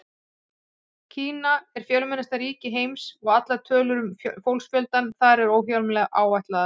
Kína er fjölmennasta ríki heims og allar tölur um fólksfjölda þar eru óhjákvæmilega áætlaðar.